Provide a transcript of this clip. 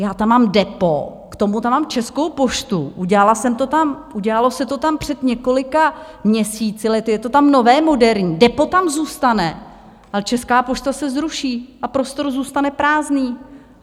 Já tam mám DEPO, k tomu tam mám Českou poštu, udělalo se to tam před několika měsíci, lety, je to tam nové, moderní, DEPO tam zůstane, ale Česká pošta se zruší a prostor zůstane prázdný.